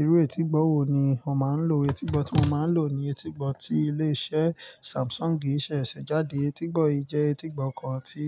Irú etígbọ́ wo ni o máa ń lò? Etígbọ́ tí mo máa ń lò ni etígbọ́ tí ilé iṣẹ́ Samsung ṣẹ̀ ṣe jáde. Etígbọ́ yìí jẹ́ etígbọ́ kan tí